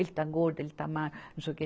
Ele está gordo, ele está magro, não sei o que.